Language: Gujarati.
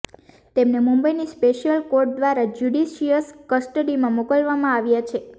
તેમને મુંબઈની સ્પેશિયલ કોર્ટ દ્વારા જ્યુડિશિયલ કસ્ટડીમાં મોકલવામાં આવ્યા છે